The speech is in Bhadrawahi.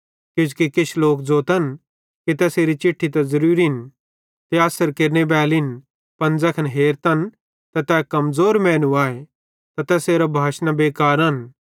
किजोकि किछ लोक ज़ोतन कि तैसेरी चिट्ठी त ज़रूरिन ते अस्सर केरने बैलिन पन ज़ैखन हेरतन त तै कमज़ोर मैनू आए ते तैसेरां भाषाना बेकारन